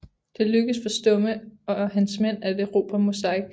Det lykkedes for Stumme og hans mænd at erobre Mozhaisk